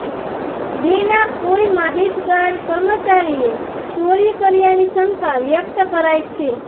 બેંના કોઈ માહિતગાર કર્મચારીએ ચોરી કર્યાની શંકા વ્યક્ત કરાઈ છે